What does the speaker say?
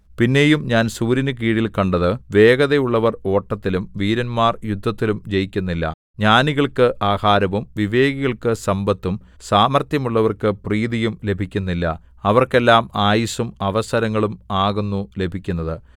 പിന്നെയും ഞാൻ സൂര്യനുകീഴിൽ കണ്ടത് വേഗതയുള്ളവർ ഓട്ടത്തിലും വീരന്മാർ യുദ്ധത്തിലും ജയിക്കുന്നില്ല ജ്ഞാനികൾക്ക് ആഹാരവും വിവേകികൾക്ക് സമ്പത്തും സാമർത്ഥ്യമുള്ളവർക്ക് പ്രീതിയും ലഭിക്കുന്നില്ല അവർക്കെല്ലാം ആയുസ്സും അവസരങ്ങളും ആകുന്നു ലഭിക്കുന്നത്